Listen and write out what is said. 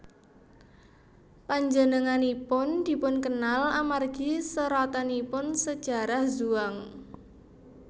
Panjenenganipun dipunkenal amargi seratanipun Sajarah Zhuang